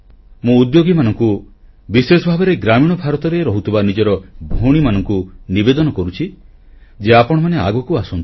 ମୁଁ ଉଦ୍ୟୋଗୀମାନଙ୍କୁ ବିଶେଷ ଭାବରେ ଗ୍ରାମୀଣ ଭାରତରେ ରହୁଥିବା ନିଜର ଭଉଣୀମାନଙ୍କୁ ନିବେଦନ କରୁଛି ଯେ ଆପଣମାନେ ଆଗକୁ ଆସନ୍ତୁ